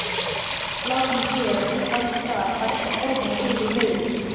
Slátrun hér og slátrun þar, bætti Thomas við í huganum.